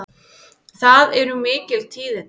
Það eru mikil tíðindi!